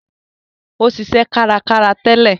Ó ṣiṣẹ́ kárakára tẹ́lẹ̀